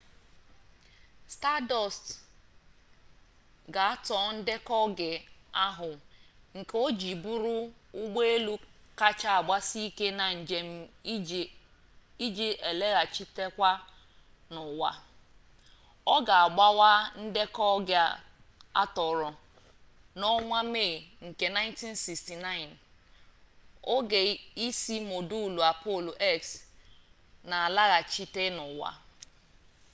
stardust ga atoo ndeko oge ohuu nke oji buru ugboelu kacha agbasi ike na njem iji ilaghachite n'uwa o ga agbawa ndeko oge atooro na onwa may nke 1969 oge isi modulu apollo x n'alaghachite n'uwa